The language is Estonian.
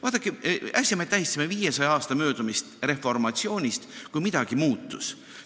Vaadake, äsja me tähistasime 500 aasta möödumist reformatsioonist, mille ajal midagi muutus.